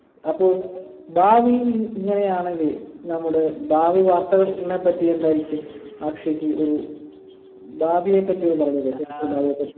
അപ്പോ ഭാവിയിൽ ഇ ഇങ്ങനെയാണെങ്കിൽ നമ്മുടെ ഭാവി വാർത്തകൾനെപറ്റി എന്തായിരിക്കും അക്ഷയ്ക്ക് ഒരു ഭാവിയെപ്പറ്റി ഇത് പറഞ്ഞൂടെ